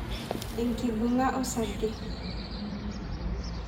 Enkibunga osarge(nkalukat)